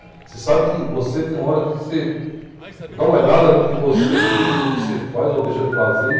Você sabe que você tem uma hora que você dá uma olhada no que você vive, no que você faz ou deixa de fazer e...